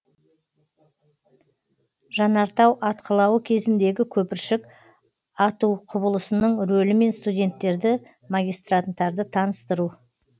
жанартау атқылауы кезіндегі көпіршік ату құбылысының рөлімен студенттерді магистранттарды таныстыру